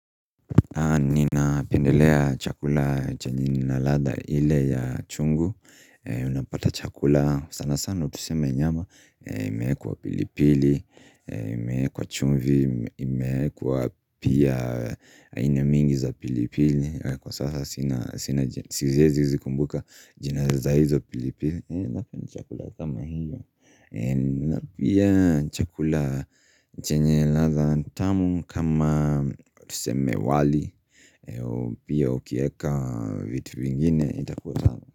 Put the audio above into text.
Na nina pendelea chakula chanyini na ladha ile ya chungu Unapata chakula sana sana tuseme nyama imeekwa pilipili, imekwa chumvi, imekwa pia aina mingi za pilipili Kwa sasa sina siezi kumbuka jina za hizo pilipili Napia ni chakula kama hiyo Napia chakula chenye ladha tamu kama tuseme wali Eo pia ukieka vitu vingine itakuwa tamu.